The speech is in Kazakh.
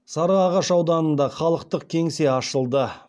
сарыағаш ауданында халықтық кеңсе ашылды